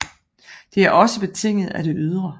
Det er også betinget af det ydre